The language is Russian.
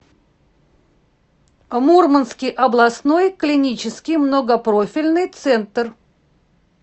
мурманский областной клинический многопрофильный центр